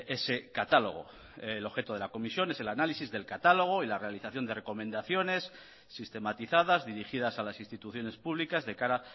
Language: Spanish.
ese catálogo el objeto de la comisión es el análisis del catálogo y la realización de recomendaciones sistematizadas dirigidas a las instituciones públicas de cara